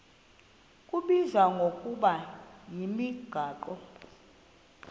kubizwa ngokuba yimigaqo